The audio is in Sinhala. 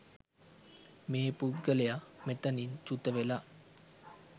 මේ පුද්ගලයා මෙතැනින් චුුුත වෙලා